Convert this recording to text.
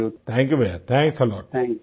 thank you भैया thanks a lot